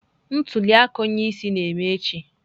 Ntuli aka onye isi ala ga-eme echi.